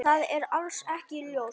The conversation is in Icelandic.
Það er alls ekki ljóst.